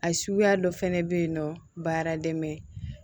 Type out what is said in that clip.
A suguya dɔ fɛnɛ be yen nɔ baara dɛmɛ